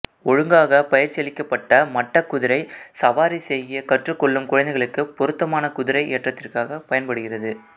ஒழுங்காக பயிற்சியளிக்கப்பட்ட மட்டக்குதிரை சவாரி செய்யக் கற்றுக் கொள்ளும் குழந்தைகளுக்கு பொருத்தமான குதிரை ஏற்றத்திற்காக பயன்படுகிறது